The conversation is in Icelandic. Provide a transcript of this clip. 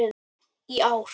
í ár.